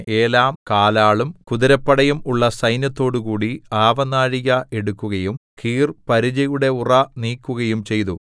ഏലാം കാലാളും കുതിരപ്പടയും ഉള്ള സൈന്യത്തോടുകൂടി ആവനാഴിക എടുക്കുകയും കീർ പരിചയുടെ ഉറ നീക്കുകയും ചെയ്തു